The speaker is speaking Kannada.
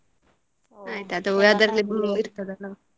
ಆಯ್ತು ಅದು ಅದರಲ್ಲಿ ಇರ್ತದೆ ಅಲ್ಲಾ.